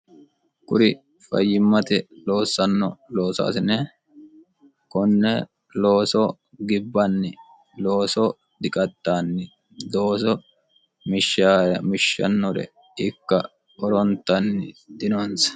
kuri fayyimmate loossanno loosoasine konne looso gibbanni looso diqatxaanni looso mishshaare mishshannore ikka horontanni dinonsa